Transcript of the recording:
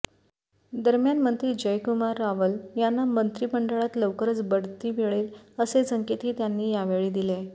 दरम्यान मंत्री जयकुमार रावल यांना मंत्री मंडळात लवकरच बढती मिळेल असे संकेतही त्यांनी यावेळी दिले